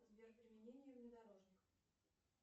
сбер применение внедорожник